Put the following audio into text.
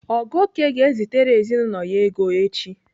Ogoke ga-ezitere ezinaụlọ ya ego echi.